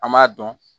An m'a dɔn